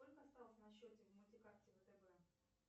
сколько осталось на счете в мультикарте втб